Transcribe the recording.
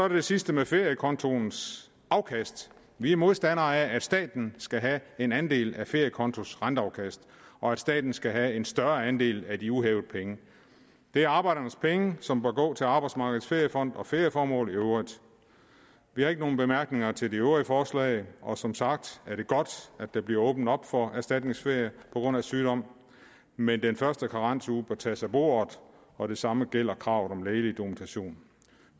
det sidste med feriekontos afkast vi er modstandere af at staten skal have en andel af feriekontos renteafkast og at staten skal have en større andel af de uhævede penge det er arbejdernes penge som bør gå til arbejdsmarkedets feriefond og ferieformål i øvrigt vi har ikke nogen bemærkninger til de øvrige forslag og som sagt er det godt at der bliver åbnet op for erstatningsferie på grund af sygdom men den første karensuge bør tages af bordet og det samme gælder kravet om lægelig dokumentation